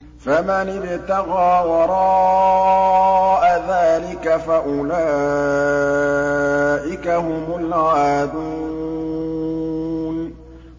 فَمَنِ ابْتَغَىٰ وَرَاءَ ذَٰلِكَ فَأُولَٰئِكَ هُمُ الْعَادُونَ